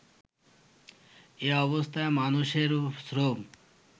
এ-অবস্থায় মানুষের শ্রম